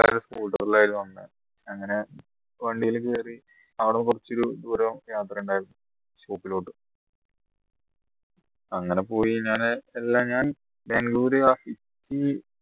ആയിരുന്നു വന്ന അങ്ങനെ വണ്ടിയിൽ കയറി അവിടുന്ന് കുറച്ച് ഒരു ദൂരം യാത്ര ഉണ്ടായിരുന്നു shop ലോട്ട് അങ്ങനെ പോയി ഞാന് എല്ലാം ഞാൻ ബാംഗളൂരു